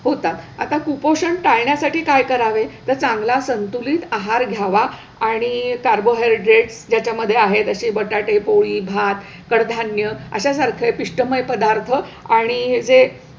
होतात. आता कुपोषण टाळण्यासाठी काय करावे, तर चांगला संतुलित आहार घ्यावा आणि कार्बोहायड्रेट ज्याच्यामध्ये आहेत असे बटाटे, पोळी, भात, कडधान्य अशासारखे पिष्टमय पदार्थ आणि जे,